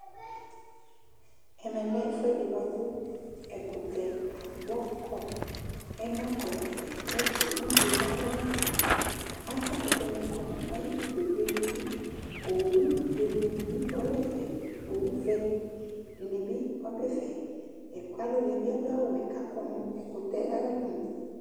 ɛmɛ lɛ ɛfʊɛdi bakʊ ɛkʊtɛ agbɔkɔ Ɛna ƙɔ nʊ ɛfɛ Ɛfɛ ʊdzo kaka nʊ ɛfɛ Avã kʊtɛnɩ kɔ nʊ ayidʊ kpekpekpe Owʊ be dinɩ bɩ dʊ ɛfɛ, owʊ vɛ dinɩ bɩ dɛfɛ Alʊnɩ bɩ adʊ awʊwɛ kʊ akɔ nʊ ɛfɛ kʊ akɔ nʊ ɛkʊtɛ ayʊ ɛlʊ